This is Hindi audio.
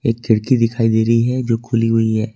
खिड़की दिखाई दे रही है जो खुली हुई है।